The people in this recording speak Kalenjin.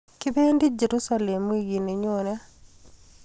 kipendi Jersusalem wikini nyonet